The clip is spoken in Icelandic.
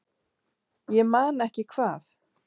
Ég man ekki hvað